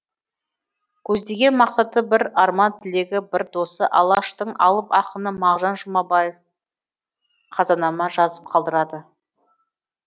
көздеген мақсаты бір арман тілегі бір досы алаштың алып ақыны мағжан жұмбаев қазанама жазып қалдырады